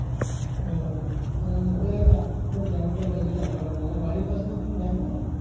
ও তা দেখ আশে পাশের bank গুলো দেখ যেটা ভালো হয় আর বাড়ির পাশে তোর কোনো bank নেই?